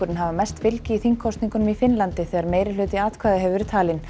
hafa mest fylgi í þingkosningum í Finnlandi þegar meirihluti atkvæða hefur verið talinn